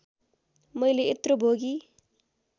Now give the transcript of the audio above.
मैले यत्रो भोगी